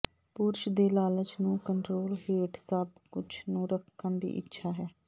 ਪੁਰਸ਼ ਦੇ ਲਾਲਚ ਨੂੰ ਕੰਟਰੋਲ ਹੇਠ ਸਭ ਕੁਝ ਨੂੰ ਰੱਖਣ ਦੀ ਇੱਛਾ ਹੈ